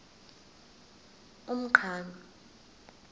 umqhano